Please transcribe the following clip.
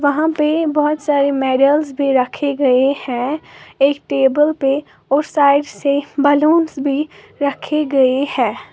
वहां पे बोहोत सारी मेडल्स पर रखे गए हैं एक टेबल पे और साइड से बलूंस भी रखे गए हैं।